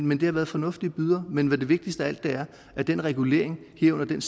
men det har været fornuftige bydere men det vigtigste af alt er at den regulering herunder den